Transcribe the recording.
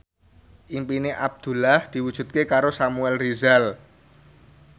impine Abdullah diwujudke karo Samuel Rizal